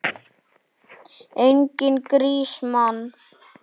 Enginn grís, mann!